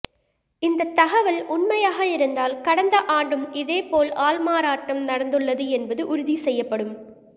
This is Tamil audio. இந்த தகவல் உண்மையாக இருந்தால் கடந்த ஆண்டும் இதேபோல் ஆள்மாறாட்டம் நடந்துள்ளது என்பது உறுதி செய்யப்படும்